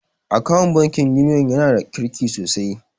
Akawun bankin Union ya na da kirki sosai